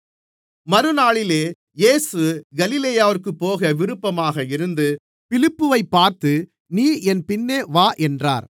மறுநாளிலே இயேசு கலிலேயாவிற்குப் போக விருப்பமாக இருந்து பிலிப்புவைப் பார்த்து நீ என் பின்னே வா என்றார்